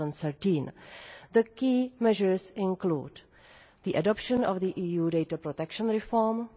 2013. The key measures include the adoption of the EU data protection reform,